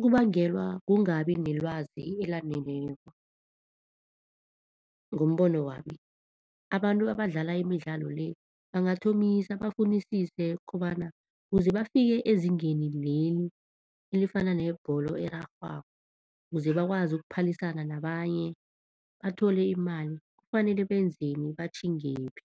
Kubangelwa kungabi nelwazi elaneleko, ngombono wami abantu abadlala imidlalo le bangathomisa bafunisise kobana kuze bafike ezingeni leli elifana nebholo erarhwako, kuze bakwazi ukuphalisana nabanye, bathole imali kufanele benzeni batjhingephi?